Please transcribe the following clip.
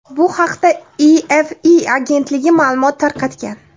Bu haqda EFE agentligi ma’lumot tarqatgan .